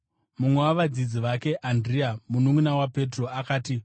Mumwe wavadzidzi vake, Andirea, mununʼuna waPetro, akati,